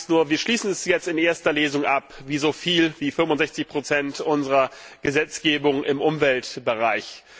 Die Frage ist nur Wir schließen das jetzt in erster Lesung ab, wie so viel, wie 65 unserer Gesetzgebung im Umweltbereich.